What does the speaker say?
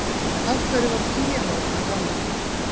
Af hverju varð píanóið fyrir valinu?